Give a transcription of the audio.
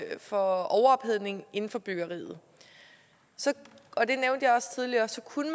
for overophedning inden for byggeriet og det nævnte jeg også tidligere så kunne